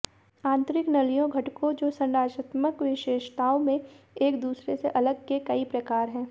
आंतरिक नलियों घटकों जो संरचनात्मक विशेषताओं में एक दूसरे से अलग के कई प्रकार है